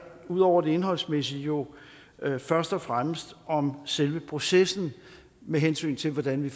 ud over det indholdsmæssige jo først og fremmest om selve processen med hensyn til hvordan vi